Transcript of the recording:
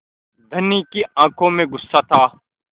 धनी की आँखों में गुस्सा था